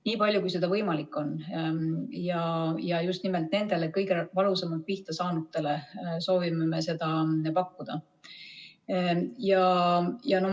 Nii palju, kui see võimalik on, ja just nimelt nendele kõige valusamalt pihta saanutele soovime seda pakkuda.